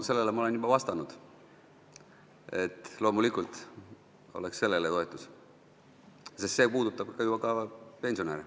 Sellele ma olen juba vastanud, et loomulikult oleks toetus sellele, sest see puudutab ju ka pensionäre.